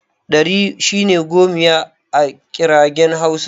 Ɗari shine 'gomiya' a ƙirgen hausa.